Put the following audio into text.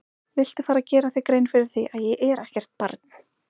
Viltu fara að gera þér grein fyrir því að ég er ekkert barn!